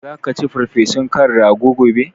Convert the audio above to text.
Zaka ci farfesun kan rago gobe?